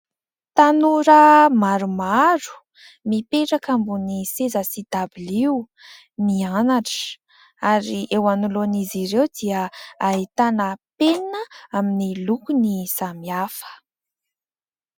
Tanora maromaro, mipetraka ambony seza sy dabilio, mianatra. Ary eo anoloan'izy ireo dia aitana penina amin'ny lokony samihafa.